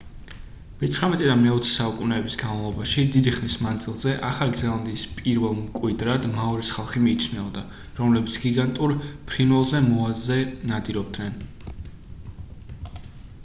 მეცხრამეტე და მეოცე საუკუნეების განმავლობაში დიდი ხნის მანძილზე ახალი ზელანდიის პირველ მკვიდრად მაორის ხალხი მიიჩნეოდა რომლებიც გიგანტურ ფრინველზე მოაზე ნადირობდნენ